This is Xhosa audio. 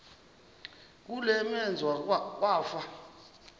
kule meazwe kwafa